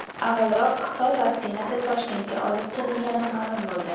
Avvalroq Xitoy vaksinasi Toshkentga olib kelingani ma’lum bo‘ldi.